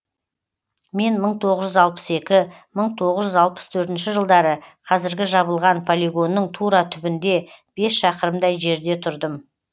мен мың тоғыз жүз алпыс екі мың тоғыз жүз алпыс төртінші жылдары қазіргі жабылған полигонның тура түбінде бес шақырымдай жерде тұрдым